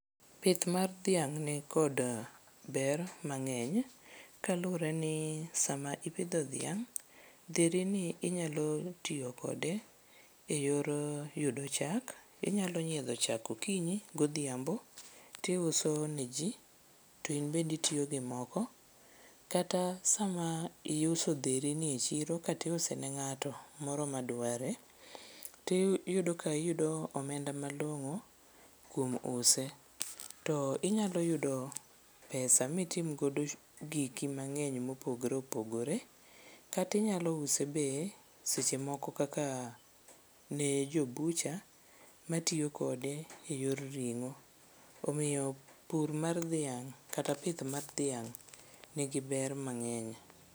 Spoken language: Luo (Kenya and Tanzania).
Pith mar dhiang' nikod ber mang'eny kaluwre ni sama ipidho dhiang', dherini inyalo tiyo kode e yor yudo chak. Inyalo nyiedho chak okinyi godhiambo tiuso ne ji to in bende itiyogi moko kata sama iuso dherini e chiro katiuse ne ng'ato moro ma dware tiyudo ka iyudo omenda malong'o kuom use to inyalo yudo pesa mitim godo giki mang'eny mopogre opogore kata inyalo use be seche moko kaka ne jo bucha matiyo kode e yor ring'o, omiyo pur mar dhiang' kata pith mar dhiang' nigi ber mang'eny.